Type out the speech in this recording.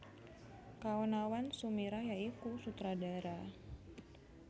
Kaonawan Sumirah ya iku Sutradara